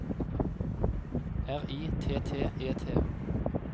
R I T T E T